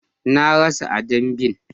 Na rasa a damben